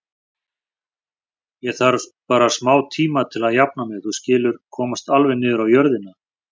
Ég þarf bara smátíma til að jafna mig, þú skilur, komast alveg niður á jörðina.